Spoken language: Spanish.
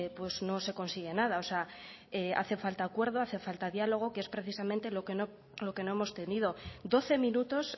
pues no se consigue nada o sea hace falta acuerdo hace falta diálogo que es precisamente lo que no hemos tenido doce minutos